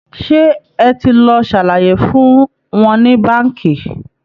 Ṣé ẹ ti lọ ṣàlàyé fún wọn ní báǹkì?